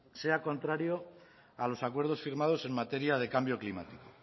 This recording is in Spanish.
sea contrario a los acuerdos firmados en materia de cambio climático